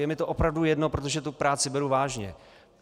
Je mi to opravdu jedno, protože tu práci beru vážně.